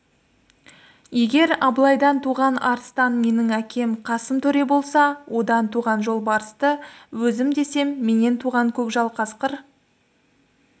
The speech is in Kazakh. егер абылайдан туған арыстан менің әкем қасым төре болса одан туған жолбарысты өзім десем менен туған көкжал қасқыр